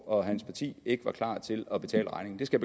og hans parti ikke var klar til at betale regningen det skal